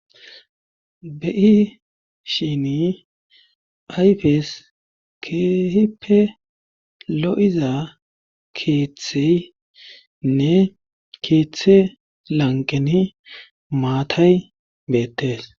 beyishini ayfes keehippe lo7iza keeththeynne keeththe lanqeni maatay beettes